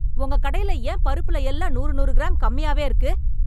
உங்க கடையில ஏன் பருப்பில எல்லாம் நூறு நூறு கிராம் கம்மியாவே இருக்கு?